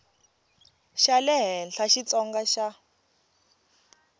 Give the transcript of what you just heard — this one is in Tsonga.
xa le henhla xitsonga xa